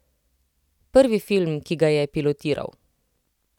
Prvi film, ki ga je pilotiral.